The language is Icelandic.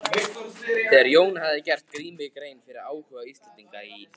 Þegar Jón hafði gert Grími grein fyrir áhuga Íslendinga í